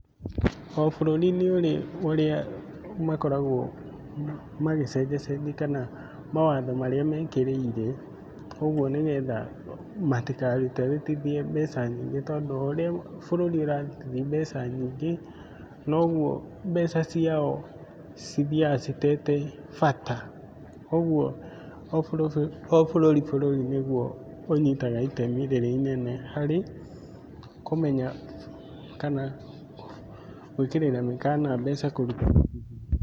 O bũrũri nĩ ũri ũrĩa makoragwo magĩcenjacenjia kana mawatho marĩa mekĩrĩire, ũguo nĩ getha matikarutarutithie mbeca nyingĩ, tondũ o ũrĩa bũrũri urarutithia mbeca nyingĩ, noguo mbeca ciao cithiaga citete bata. Koguo o bũrũri bũrũri nĩguo ũnyitaga itemi rĩrĩa inene, harĩ kũmenya kana gwĩkĩrĩra mĩkana mbeca kũrutarutithio.